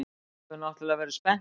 Þú hefur náttúrlega verið spenntur.